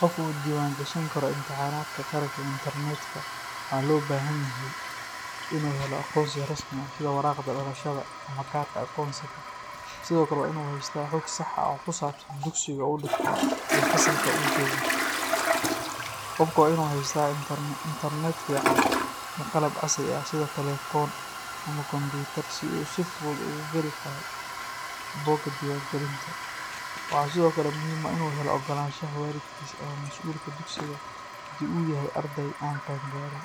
qof u diiwaangashan karo imtixaanaadka qaranka ee intarnetka, waxa loo baahan yahay inuu helo aqoonsi rasmi ah sida waraaqda dhalashada ama kaarka aqoonsiga, sidoo kale waa in uu haystaa xog sax ah oo ku saabsan dugsiga uu dhigto iyo fasalka uu joogo. Qofka waa inuu haystaa internet fiican iyo qalab casri ah sida telefoon ama kombiyuutar si uu si fudud ugu gali karo bogga diiwaangelinta. Waxaa sidoo kale muhiim ah inuu helo oggolaanshaha waalidkiis ama masuulka dugsiga haddii uu yahay arday aan qaangaarin.